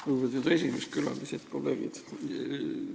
Lugupeetud juhataja, külalised ja kolleegid!